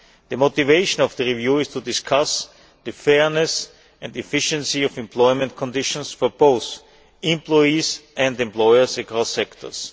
The motivation of the review is to discuss the fairness and efficiency of employment conditions for both employees and employers across sectors.